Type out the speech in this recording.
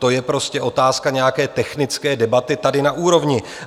To je prostě otázka nějaké technické debaty tady na úrovni.